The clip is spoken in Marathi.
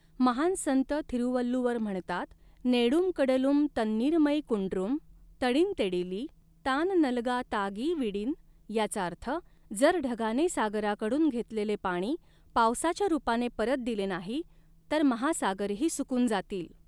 महान संत थिरुवल्लुवर म्हणतात, नेडुंकडलुम तन्नीर मै कुंडृम तडिन्तेडिली तान नल्गा तागि विडिन याचा अर्थ, जर ढगाने सागराकडून घेतलेले पाणी पावसाच्या रूपाने परत दिले नाही तर महासागरही सुकून जातील.